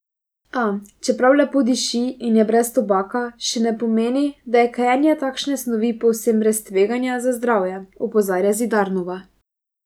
A, čeprav lepo diši in je brez tobaka, še ne pomeni, da je kajenje takšne snovi povsem brez tveganja za zdravje, opozarja Zidarnova.